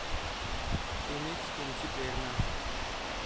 तुम्हीच तुमची प्रेरणा आहात.